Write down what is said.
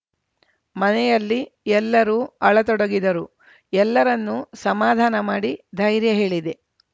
ಮನೆಯಲ್ಲಿ ಎಲ್ಲರೂ ಅಳತೊಡಗಿದರು ಎಲ್ಲರನ್ನೂ ಸಮಾಧಾನ ಮಾಡಿ ಧೈರ್ಯ ಹೇಳಿದೆ